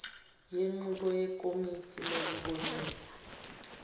yenqubo yekomiti lokubonisa